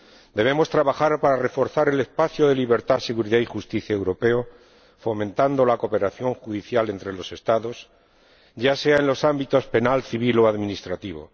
Debemos trabajar para reforzar el espacio de libertad, seguridad y justicia europeo, fomentando la cooperación judicial entre los Estados, ya sea en los ámbitos penal, civil o administrativo.